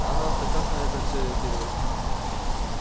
а нам-то как на это все реагировать